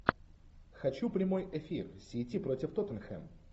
хочу прямой эфир сити против тоттенхэм